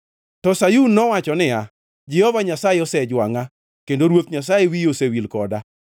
To Sayun nowacho niya, “Jehova Nyasaye osejwangʼa; kendo Ruoth Nyasaye wiye osewil koda.”